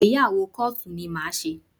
Ìgbéyàwó kóòtù ni mo máa ṣe